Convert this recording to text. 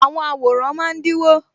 Àwọn àwòrán máa dínwó